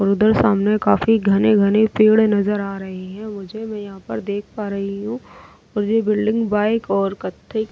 और उधर सामने काफी घने-घने पेड़ नजर आ रहे हैं ऊँचे यहां पर देख पा रही हूं और ये बिल्डिंग बाइक और कत्थे --